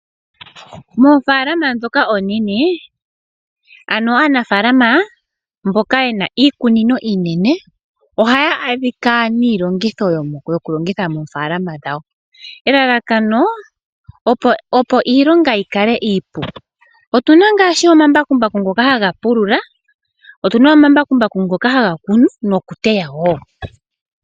Moofalama dhoka oonene ano aanafaalama mboka yena iikunino iinene ohaya adhika niilongitho yo kulongitha moofalama dhawo . Elalakano opo iilonga yikale iipu. Otuna omambakumbaku ngoka haga pulula. Otuna omambakumbaku ngoka haga kunu nokuteya woo.